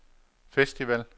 festival